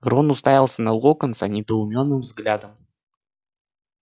рон уставился на локонса недоуменным взглядом